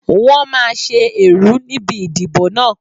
Wọ́n máa ṣe ẹ̀rú níbi ìdìbò náà.